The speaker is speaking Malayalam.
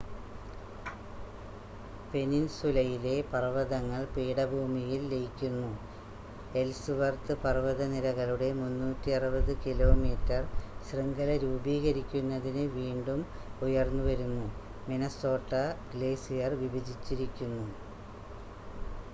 പെനിൻസുലയിലെ പർവതങ്ങൾ പീഠഭൂമിയിൽ ലയിക്കുന്നു എൽസ്‌വർത്ത് പർവതനിരകളുടെ 360 കിലോമീറ്റർ ശൃംഖല രൂപീകരിക്കുന്നതിന് വീണ്ടും ഉയർന്നുവരുന്നു മിനസോട്ട ഗ്ലേസിയർ വിഭജിച്ചിരിക്കുന്നു